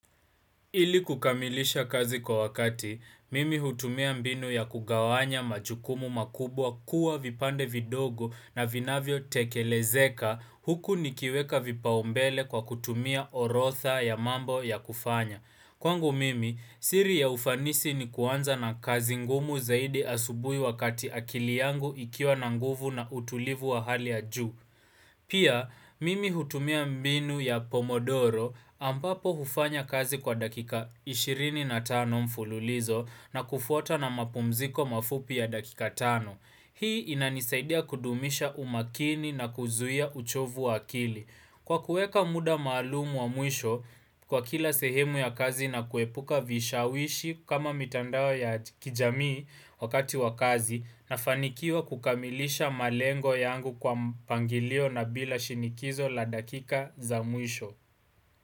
Ili kukamilisha kazi kwa wakati, mimi hutumia mbinu ya kugawanya majukumu makubwa kuwa vipande vidogo na vinavyo tekelezeka huku nikiweka vipaombele kwa kutumia orodha ya mambo ya kufanya. Kwangu mimi, siri ya ufanisi ni kuanza na kazi ngumu zaidi asubuhi wakati akili yangu ikiwa na nguvu na utulivu wa hali ya juu. Pia, mimi hutumia mbinu ya pomodoro ambapo hufanya kazi kwa dakika 25 mfululizo na kufuata na mapumziko mafupi ya dakika 5. Hii inanisaidia kudumisha umakini na kuzuia uchovu wa akili. Kwa kuweka muda maalumu wa mwisho kwa kila sehemu ya kazi na kuepuka vishawishi kama mitandao ya kijamii wakati wa kazi nafanikiwa kukamilisha malengo yangu kwa mpangilio na bila shinikizo la dakika za mwisho.